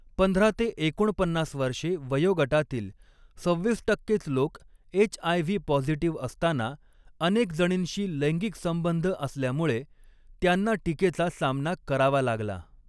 पंधरा ते एकोणपन्नास वर्षे वयोगटातील सव्हीस टक्केच लोक एच.आय.व्ही. पॉझिटिव्ह असताना, अनेक जणींशी लैंगिक संबंध असल्यामुळे त्यांना टीकेचा सामना करावा लागला.